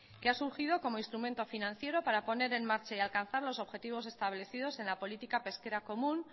que ha surgido como instrumento financiero para poner en marcha y alcanzar los objetivos establecidos en la política pesquera común